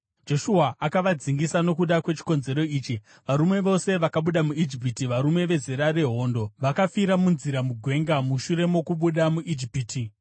Joshua akavadzingisa nokuda kwechikonzero ichi: Varume vose vakabuda muIjipiti, varume vezera rehondo, vakafira munzira mugwenga mushure mokubuda muIjipiti.